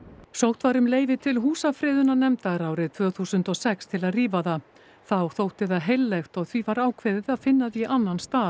sótt var um leyfi til húsafriðunarnefndar árið tvö þúsund og sex til að rífa það þá þótti það heillegt og því var ákveðið að finna því annan stað